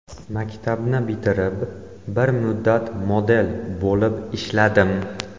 Maktabni bitirib, bir muddat model bo‘lib ishladim.